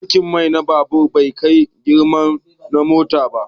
Tankin mai na babur bai kai girman na mota ba